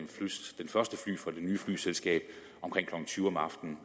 nye flyselskab omkring klokken tyve om aftenen